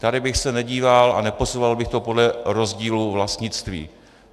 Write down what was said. Tady bych se nedíval a neposuzoval bych to podle rozdílu vlastnictví.